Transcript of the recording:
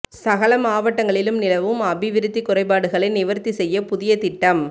சகல மாவட்டங்களிலும் நிலவும் அபிவிருத்தி குறைபாடுகளை நிவர்த்தி செய்ய புதிய திட்டம்